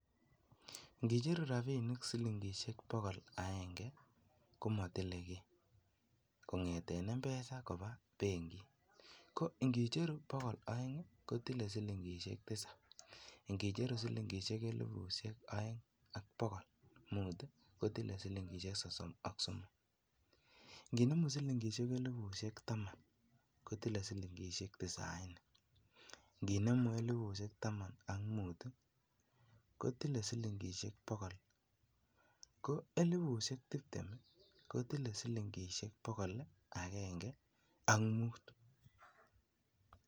Ing'icheru rabinik siling'ishek bokol akeng'e komotile kii, kong'eten mpesa akoi benkit, ko ing'icheru bokol oeng kotile siling'ishek tisab, ing'icheru siling'ishek elibu oeng ak bokol muut kotile siling'ishek sosom ok somok, ing'inemu siling'ishek elibushek taman kotile siling'ishek tisaini, ing'inemu siling'ishek elibu taman ak mut kotile siling'ishek bokol muut, ko elibushek tibtem kotile siling'ishek bokol akeng'e ak muut.